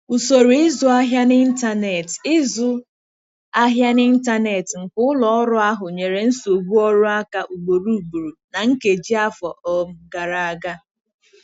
Usoro ịzụ ahịa n'ịntanetị ịzụ ahịa n'ịntanetị nke ụlọ ọrụ ahụ nyere nsogbu ọrụ aka ugboro ugboro na nkeji afọ um gara aga.